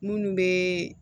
Minnu bɛ